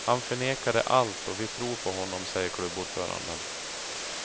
Han förnekade allt och vi tror på honom, säger klubbordföranden.